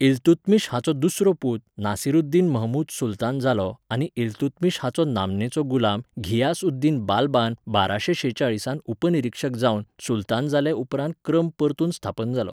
इल्तुत्मिश हाचो दुसरो पूत नासिरुद्दीन महमूद सुलतान जालो आनी इल्तुत्मिश हाचो नामनेचो गुलाम घियास उद्दीन बाल्बान बाराशें शेचाळिसांत उपनिरीक्षक जावन सुलतान जाले उपरांतच क्रम परतून स्थापन जालो.